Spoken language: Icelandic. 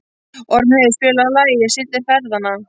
Ormheiður, spilaðu lagið „Syndir feðranna“.